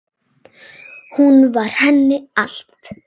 Hún var henni allt.